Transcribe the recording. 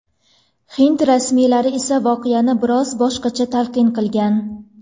Hind rasmiylari esa voqeani biroz boshqacha talqin qilgan.